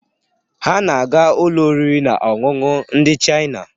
Ha na-aga ụlọ oriri na ọṅụṅụ ndị Chaina.